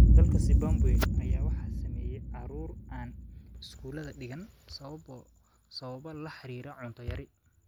Dalka Zimbabwe ayaa waxaa saameeyay caruur aan iskuulada dhigan sababo la xiriira cunto yari.